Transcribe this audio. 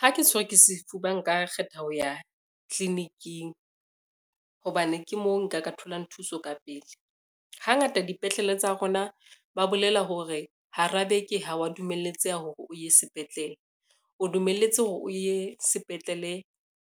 Ha ke tshwerwe ke sefuba nka kgetha ho ya tliliniking, hobane ke moo nka ka tholang thuso ka pele. Hangata dipetlele tsa rona ba bolela hore hara beke ha wa dumelletseha hore o ye sepetlele, o dumelletse hore o ye sepetlele